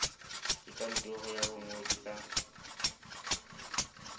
ke kantoro ya bongodi ka